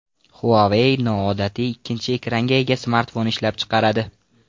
Huawei noodatiy ikkinchi ekranga ega smartfon ishlab chiqaradi.